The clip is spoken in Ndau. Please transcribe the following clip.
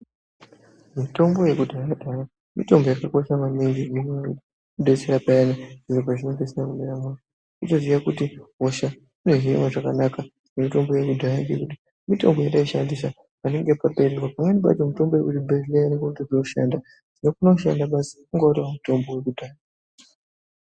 Mitombo yekudhaya dhaya mitombo yakakosha maningi ngekuti inodetsera payana zviro pazvinenge zvisina kumira mushe, kutoziya kuti hosha inohinwa zvakanaka ngemitombo yekudhaya yedu. Mitombo yataishandisa patenge pa...., pamweni pacho mutombo yekuchibhehleya ......